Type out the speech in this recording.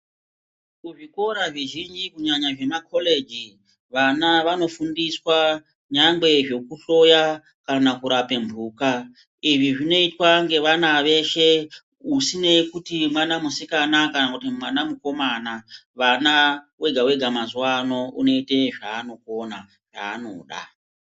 Kuzvikora zvizhinji kunyanya zvemacollege vana vanofundiswa zvekuhloya kunyangwe kana kurapa mhuka izvi zvinoitwa nemwana weshe usina kuti mwana musikana kana mwana mukomana vana Vega Vega mazuva ano anoita zvanokona kana kuti zvanoda.